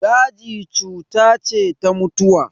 Daji cuta ce ta mutuwa.